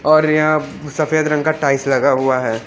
और यहाँ सफेद रंग का टाइल्स लगा हुआ है।